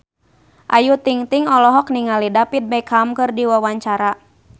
Ayu Ting-ting olohok ningali David Beckham keur diwawancara